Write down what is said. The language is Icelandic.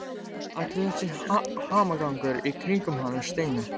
Allur þessi hamagangur í kringum hann Steina!